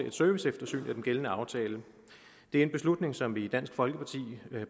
et serviceeftersyn af den gældende aftale det er en beslutning som vi i dansk folkeparti